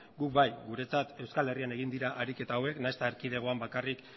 guk bai guretzat euskal herrian egin dira ariketa hauek nahiz eta erkidegoan bakarrik